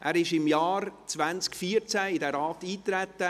Er trat im Jahr 2014 in diesen Rat ein.